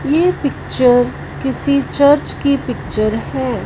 ये पिक्चर किसी चर्च की पिक्चर हैं।